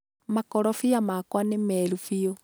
Makorobia makwa nĩ meeru biu.